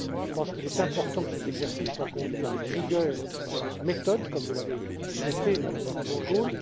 Je pense qu'il est important que cet exercice soit conduit avec rigueur et avec méthode, comme vous l'avez souhaité, Madame Wortmann Kool.